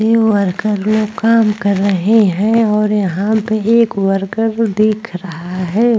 ये वर्कर लोग काम कर रहे हैं और यहां पे एक वर्कर दिख रहा है।